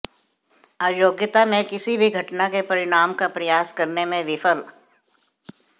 अयोग्यता में किसी भी घटना के परिणाम का प्रयास करने में विफल